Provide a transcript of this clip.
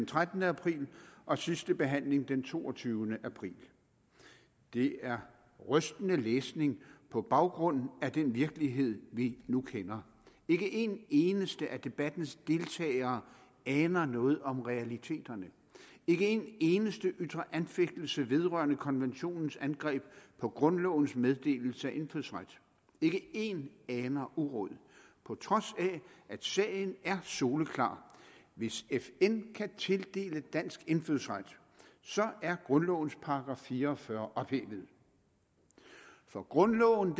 trettende april og sidste behandling den toogtyvende april det er rystende læsning på baggrund af den virkelighed vi nu kender ikke en eneste af debattens deltagere aner noget om realiteterne ikke en eneste ytrer anfægtelse vedrørende konventionens angreb på grundlovens meddelelse af indfødsret ikke en aner uråd på trods af at sagen er soleklar hvis fn kan tildele dansk indfødsret er grundlovens § fire og fyrre ophævet for grundloven